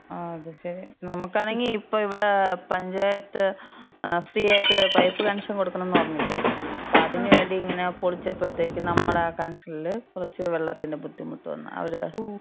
അത് ശരി.നമ്മക്കാണെങ്കി ഇപ്പം ഇവ്ടെ പഞ്ചായത്ത് ഫ്രീ ആയിട്ട് പൈപ്പ് കണക്ഷൻ കൊട്ക്ക്ണ്ന്ന് പറഞ്ഞില്ലേ. അപ്പം അതിന് വേണ്ടിങ്ങനെ പൊളിച്ചപ്പത്തേക്ക്, നമ്മടെ കണക്ഷൻല് കൊറച്ച് വെള്ളത്തിന് ബുദ്ധിമുട്ട് വന്ന്. അവര്.